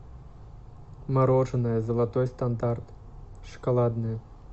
мороженое золотой стандарт шоколадное